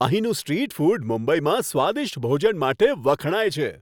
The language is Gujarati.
અહીંનું સ્ટ્રીટ ફૂડ મુંબઈમાં સ્વાદિષ્ટ ભોજન માટે વખણાય છે.